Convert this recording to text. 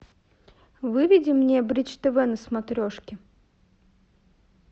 выведи мне бридж тв на смотрешке